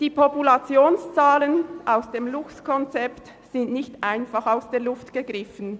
Die Populationszahlen aus dem Luchskonzept des Bundesamts für Umwelt (BAFU) sind nicht einfach aus der Luft gegriffen.